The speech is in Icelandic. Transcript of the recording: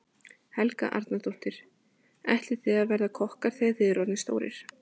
Helga Arnardóttir: Og ætlið þið að verða kokkar þegar þið eruð orðnir stórir?